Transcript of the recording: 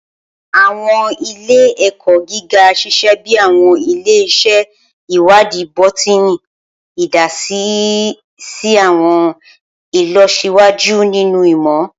Awọn ile-ẹkọ giga ṣiṣẹ bi awọn ile-iṣẹ iwadii bọtini, idasi si awọn ilọsiwaju ninu imọ.